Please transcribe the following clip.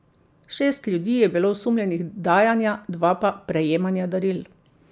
Šest ljudi je bilo osumljenih dajanja, dva pa prejemanja daril.